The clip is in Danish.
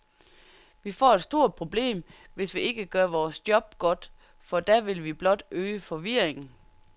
Vi får et stort problem, hvis vi ikke gør vores job godt, for da vil vi blot øge forvirringen.